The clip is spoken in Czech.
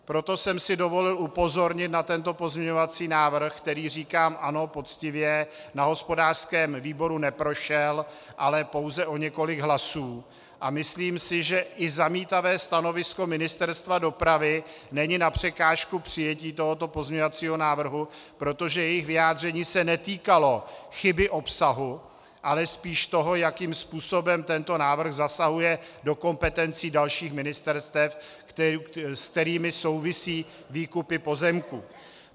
Proto jsem si dovolil upozornit na tento pozměňovací návrh, který, říkám ano, poctivě, na hospodářském výboru neprošel, ale pouze o několik hlasů, a myslím si, že i zamítavé stanovisko Ministerstva dopravy není na překážku přijetí tohoto pozměňovacího návrhu, protože jejich vyjádření se netýkalo chyby obsahu, ale spíš toho, jakým způsobem tento návrh zasahuje do kompetencí dalších ministerstev, s kterými souvisí výkupy pozemků.